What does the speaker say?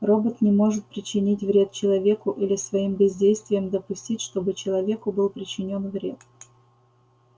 робот не может причинить вред человеку или своим бездействием допустить чтобы человеку был причинён вред